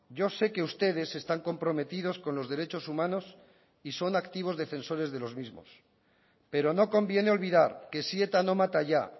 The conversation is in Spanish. yo sé que ustedes están comprometidos con los derechos humanos y son activos defensores de los mismos pero no conviene olvidar que si eta no mata ya